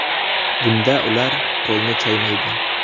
Bunda ular qo‘lni chaymaydi.